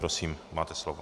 Prosím, máte slovo.